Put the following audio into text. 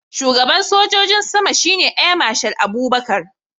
Shugaban sojin sama shine Air Marshal Abubakar